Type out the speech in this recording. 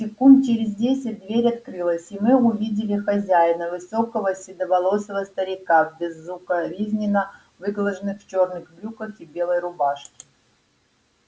секунд через десять дверь открылась и мы увидели хозяина высокого седовласого старика в безукоризненно выглаженных черных брюках и белой рубашке